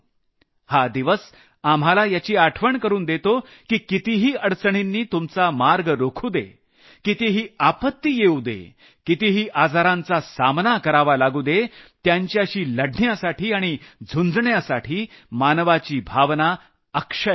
हा दिवस आपल्याला याची आठवण करून देतो की कितीही अडचणींनी तुमचा मार्ग रोखू दे कितीही आपत्ती येऊ दे कितीही आजारांचा सामना करावा लागू दे त्यांच्याशी लढण्यासाठी आणि झुंजण्यासाठी मानवाची भावना अक्षय आहे